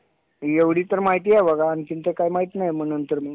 एवढी तर माहिती हाय बघा आणखीन तर काय माहिती नाही नंतर मग.